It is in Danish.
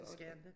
Det skal han da